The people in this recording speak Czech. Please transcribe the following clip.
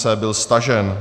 C byl stažen.